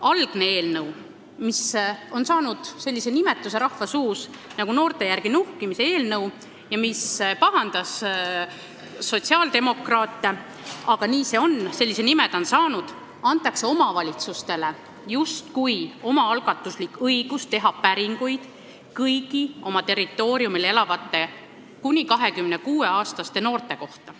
Algse eelnõuga, mida rahvas on hakanud nimetama noorte järel nuhkimise eelnõuks – see pahandab sotsiaaldemokraate, aga nii see on, sellise nime ta on saanud –, antakse omavalitsustele justkui omaalgatuslik õigus teha päringuid kõigi oma territooriumil elavate kuni 26-aastaste noorte kohta.